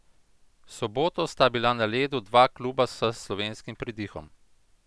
V soboto sta bila na ledu dva kluba s slovenskim pridihom.